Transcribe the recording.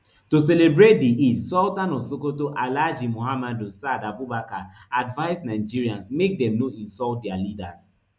to celebrate di eid sultan of sokoto alhaji muhammadu saad abubakar advise nigerians make dem no insult dia leaders